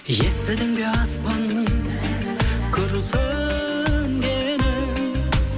естідің бе аспанның күрсінгенін